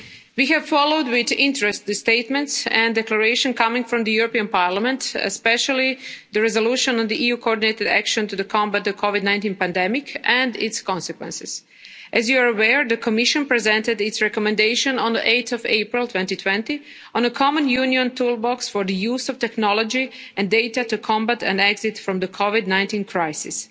We have followed with interest the statements and declarations coming from the European Parliament, especially the resolution on EU coordinated action to combat the COVID-19 pandemic and its consequences. As you are aware, the Commission presented its recommendation on 8 April 2020 on a common Union toolbox for the use of technology and data to combat and exit from the COVID-19 crisis.